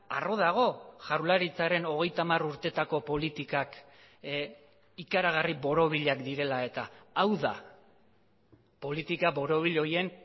arro dago jaurlaritzaren hogeita hamar urteetako politikak ikaragarri borobilak direla eta hau da politika borobil horien